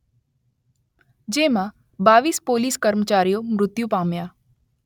જેમાં બાવીસ પોલીસ કર્મચારીઓ મૃત્યુ પામ્યા.